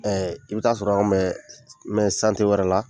Ɛɛ i bi taa sɔrɔ anw bɛ wɛrɛ la